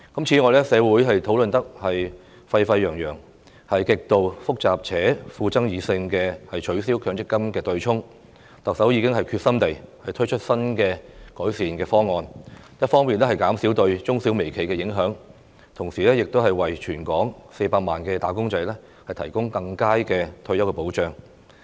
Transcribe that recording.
此外，取消強制性公積金對沖機制極度複雜且富爭議性，社會討論得沸沸揚揚，但特首亦已決心推出新的改善方案，一方面減少對中小微企的影響，同時亦為全港近400萬名"打工仔"提供更佳的退休保障。